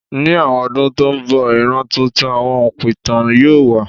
Ní àwọn ọdún tó ń bọ̀, ìran tuntun àwọn òǹpìtàn yóò wà.